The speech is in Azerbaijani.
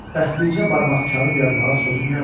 Bəs bircə barmaq kağız yazmağa sözün nədir?